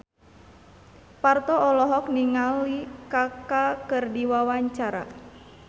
Parto olohok ningali Kaka keur diwawancara